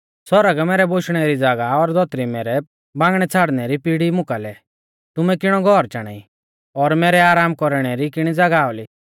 परमेश्‍वर बोला आ कि सौरग मैरै बोशणै री ज़ागाह आ और धौतरी मैरै बांगणै छ़ाड़नै री पिड़ी मुं कालै तुमै किणौ घौर चाणा ई और मैरै आराम कौरणै री किणी ज़ागाह औली